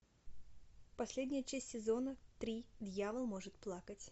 последняя часть сезона три дьявол может плакать